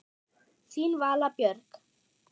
Þín Vala Björg.